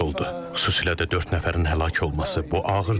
Xüsusilə də dörd nəfərin həlak olması bu ağırdır.